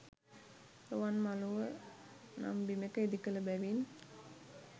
රුවන්මළුව නම් බිමෙක ඉදිකළ බැවින්